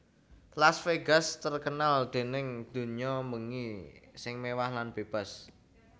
Laz Vegas terkenal dening dunyo mbengi sing mewah lan bebas